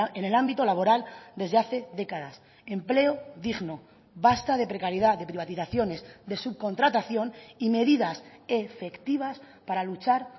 en el ámbito laboral desde hace décadas empleo digno basta de precariedad de privatizaciones de subcontratación y medidas efectivas para luchar